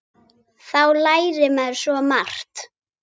Þá lærir maður svo margt.